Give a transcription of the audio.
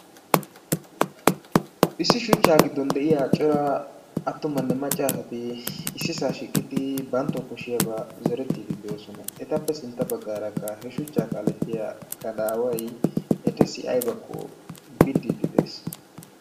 issi shuchchaa giddon de'iyaa cora attumanne macca asati issisaa shiiqqidi banttawu kooshiyaaba zoorettidi de'oosona. etappe sintta kare baggaarahe shuchchaa kaalletiyaa gadaaway ettassi aybakko biiddidi de'ees.